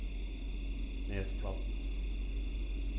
Nesflaten